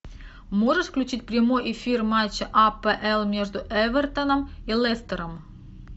можешь включить прямой эфир матча апл между эвертоном и лестером